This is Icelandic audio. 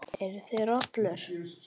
Eruð þið rollur?